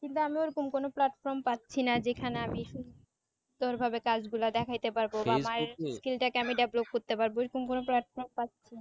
কিন্তু আমি ওরকম কোনো platform পাচ্ছিনা যেখানে আমি সুন্দর ভাবে কাজ গুলা দেখাইতে পারবো বা আমার skilled টাকে develop করতে পারবো